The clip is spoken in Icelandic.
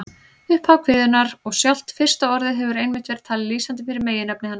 Upphaf kviðunnar og sjálft fyrsta orðið hefur einmitt verið talið lýsandi fyrir meginefni hennar.